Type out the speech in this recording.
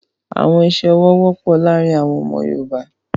Awọn iṣẹ-ọwọ wọpọ laarin awọn ọmọ Yorùbá